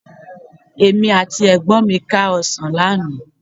Èmi àti ẹ̀gbọ́n mi ká ọ̀sán lánàá